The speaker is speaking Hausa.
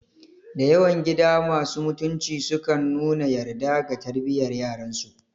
Dayawan gida masu mutunci sukan nuna yarda ga tarbiyar yaransu